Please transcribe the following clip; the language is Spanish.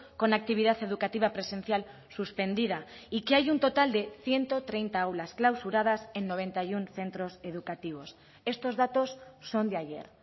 con actividad educativa presencial suspendida y que hay un total de ciento treinta aulas clausuradas en noventa y uno centros educativos estos datos son de ayer